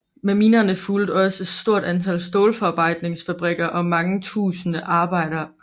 Med minerne fulgte også et stort antal stålforarbejdningsfabrikker og mange tusinde arbejdere